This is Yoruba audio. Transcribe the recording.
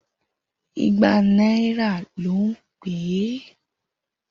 Igba náírà ló ń pè é.